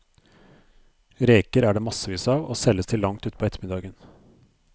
Reker er det massevis av, og selges til langt utpå ettermiddagen.